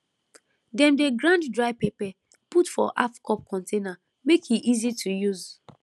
dem dey grind dry pepper put for half cup container make e easy to use